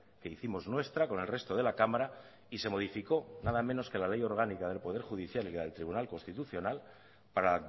que hicimos nuestra con el resto de la cámara y se modificó nada menos que la ley orgánica del poder judicial y la del tribunal constitucional para